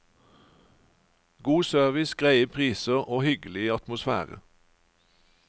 God service, greie priser og hyggelig atmosfære.